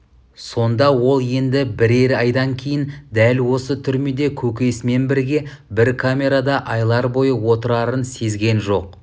сонда ол енді бірер айдан кейін дәл осы түрмеде көкесімен бірге бір камерада айлар бойы отырарын сезген жоқ